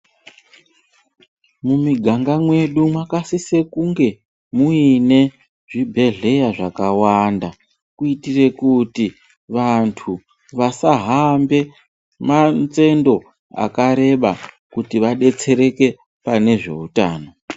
Mumiganga mwedu mwakasise kunge muine zvibhedhleya zvakawanda kuitire kuti vantu vasahambe manzendo akareba kuti vadetserekane pane zveutano.